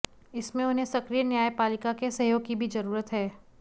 इसमें उन्हें सक्रिय न्यायपालिका के सहयोग की भी जरूरत है